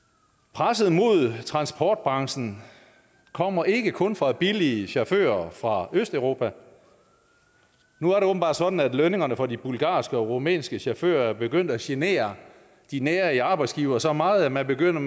presset mod transportbranchen kommer ikke kun fra billige chauffører fra østeuropa nu er det åbenbart sådan at lønningerne for de bulgarske og rumænske chauffører er begyndt at genere de nærige arbejdsgivere så meget at man begynder